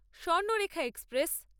Swarnarekha express